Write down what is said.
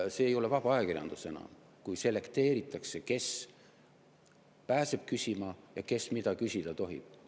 See ei ole enam vaba ajakirjandus, kui selekteeritakse, kes pääseb küsima ja kes mida küsida tohib.